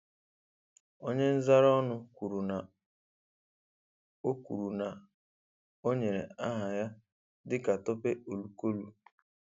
Onye nzaraọnụ kwuru na o kwuru na o nyere aha ya dịka Tope Olukolu